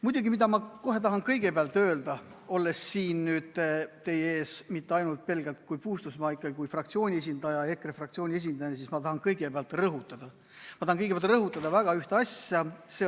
Muidugi, mida ma kohe tahan kõigepealt öelda, olles siin teie ees mitte ainult pelgalt kui Puustusmaa, vaid ikkagi kui fraktsiooni esindaja, EKRE fraktsiooni esindaja – ma tahan kõigepealt rõhutada ühte asja.